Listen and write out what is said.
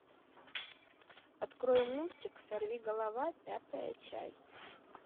открой мультик сорви голова пятая часть